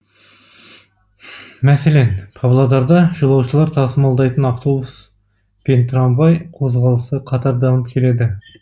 мәселен павлодарда жолаушылар тасымалдайтын автобус пен трамвай қозғалысы қатар дамып келеді